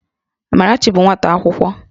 Amarachi bụ nwata akwụkwọ